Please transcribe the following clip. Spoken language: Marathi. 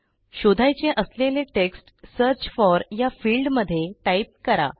आपल्याला शोधायचे असलेले टेक्स्ट सर्च फोर या फील्ड मध्ये टाईप करा